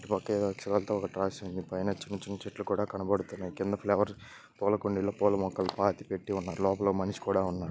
ఇటుపక్క ఎదో అక్షరాలతో ఒకటి రాసుంది పైన చిన్న చిన్న చెట్లు కూడ కనబడుతున్నాయి కింద ఫ్లవర్స్ పూలకుండీలు పూలమొక్కలు పాతిపెట్టి ఉన్నాయి లోపల మనిషి కూడ ఉన్నాడు.